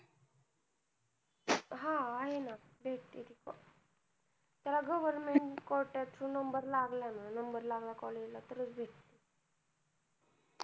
हा आहे ना भेटते ती त्याला government कोट्यातून number लागलं ना number लागला college ला तर च भेटते